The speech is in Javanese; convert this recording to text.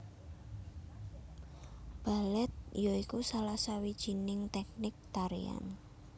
Balèt ya iku salah sawijining tèknik tarian